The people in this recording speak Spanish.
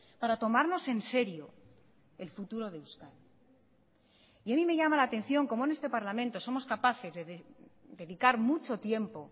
para tomarnos en serio el futuro de euskadi y a mí me llama la atención cómo en este parlamento somos capaces de dedicar mucho tiempo